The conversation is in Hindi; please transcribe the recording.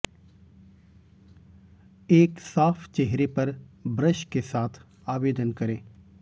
एक साफ चेहरे पर ब्रश के साथ आवेदन करें